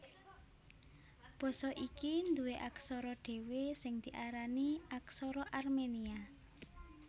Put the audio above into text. Basa iki nduwé aksara dhéwé sing diarani Aksara Armenia